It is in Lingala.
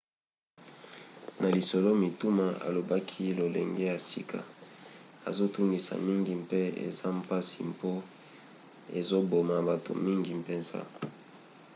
na lisolo-mituna alobaki lolenge ya sika ezotungisa mingi mpe eza mpasi mpo ezoboma bato mingi mpenza.